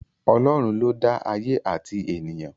Ọlọ́run ló dá ayé àti ènìyàn